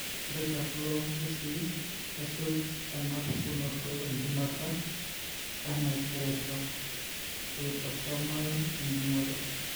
Ore tekulo kesii, kesuj enapukunoto enchumata enaitoreisho eautosomal enjung'ore.